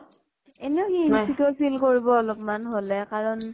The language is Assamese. এনেও সি insecure feel কৰিব অলপমান হʼলে, কাৰণ য়ে